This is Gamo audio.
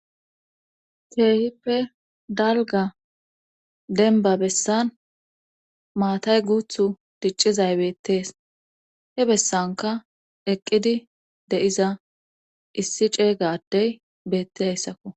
Keehippe dalgga denba bessan maatay guuththu diccizay beettees he bessankka eqqidi de'iza issi cegga adey beettidayssakko